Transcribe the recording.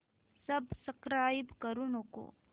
subscribe करू नको